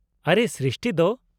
-ᱟᱨᱮ, ᱥᱨᱤᱥᱴᱤ ᱫᱚ !